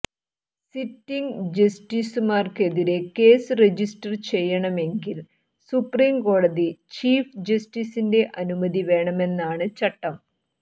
sitting ജസ്റ്റിസുമാർക്കെതിരെ case register ചെയ്യണമെങ്കിൽ supreme കോടതി ചീഫ് ജസ്റ്റിസിന്റെ അനുമതി വേണമെന്നാണ് ചട്ടം